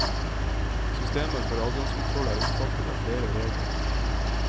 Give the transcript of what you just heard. Systemer for adgangskontroll er omfattet av flere regler.